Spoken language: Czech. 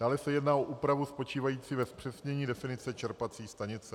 Dále se jedná o úpravu spočívající ve zpřesnění definice čerpací stanice.